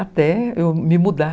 Até eu me mudar.